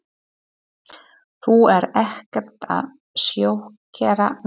Þú ert ekkert að sjokkera mig.